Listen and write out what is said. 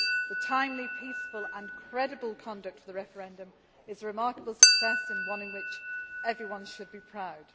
The timely, peaceful and credible conduct of the referendum has been a remarkable success and one of which everyone should be proud.